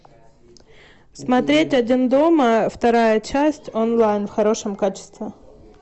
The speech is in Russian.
смотреть один дома вторая часть онлайн в хорошем качестве